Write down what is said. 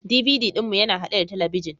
DVD ɗin mu yana haɗe da talabijin